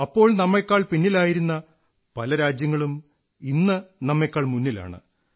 അപ്പോൾ നമ്മെക്കാൾ പിന്നിലായിരുന്ന പല രാജ്യങ്ങളും ഇന്ന് നമ്മെക്കാൾ മുന്നിലാണ്